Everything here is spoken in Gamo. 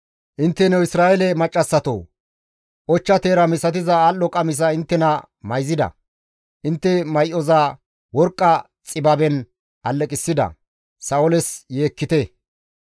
«Intteno Isra7eele maccassatoo! Ochcha teera misatiza al7o qamisa inttena mayzida; intte may7oza worqqa xibaben alleqissida; Sa7ooles yeekkite.